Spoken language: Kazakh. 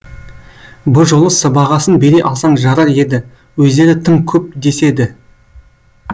бұ жолы сыбағасын бере алсаң жарар еді өздері тым көп деседі